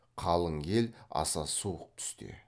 қалың ел аса суық түсте